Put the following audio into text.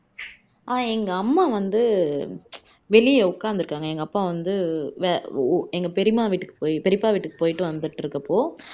ஆஹ் எங்க அம்மா வந்து வெளிய உக்காந்துருக்காங்க எங்க அப்பா வந்து வெ உ எங்க பெரியம்மா வீட்டுக்கு பெரியப்பா வீட்டுக்கு போயிட்டு வந்துட்டு இருக்கப்போ